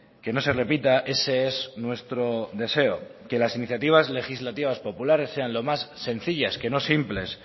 que no se repita ese es nuestro deseo que las iniciativas legislativas populares sean lo más sencillas que no simples